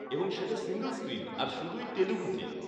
-এবং সেটা single screen আর শুধুই তেলুগুতে।